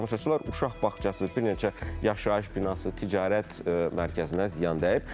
Əziz tamaşaçılar, uşaq bağçası, bir neçə yaşayış binası, ticarət mərkəzinə ziyan dəyib.